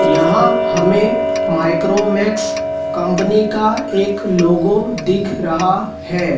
यहां हमें Micromax company का एक लोगों दिख रहा है।